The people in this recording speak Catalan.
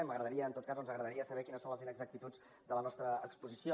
m’agradaria en tot cas o ens agradaria saber quines són les inexactituds de la nostra exposició